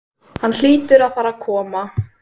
Hann hlýtur að fara að koma.